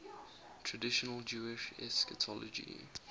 traditional jewish eschatology